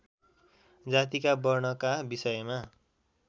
जातिका वर्णका विषयमा